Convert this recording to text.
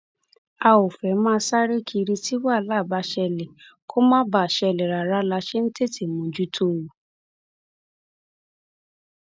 a ò fẹẹ máa sáré kiri tí wàhálà bá ṣẹlẹ kó má ṣẹlẹ rárá la ṣe ń tètè mójútó o